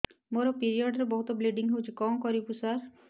ମୋର ପିରିଅଡ଼ ରେ ବହୁତ ବ୍ଲିଡ଼ିଙ୍ଗ ହଉଚି କଣ କରିବୁ ସାର